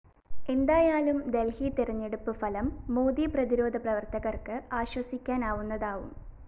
എന്തായാലും ദല്‍ഹി തെരഞ്ഞെടുപ്പ് ഫലം മോദി പ്രതിരോധ പ്രവര്‍ത്തകര്‍ക്ക് ആശ്വസിക്കാനാവുന്നതാവും